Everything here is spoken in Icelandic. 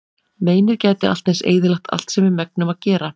Meinið gæti allt eins eyðilagt allt sem við megnum að gera.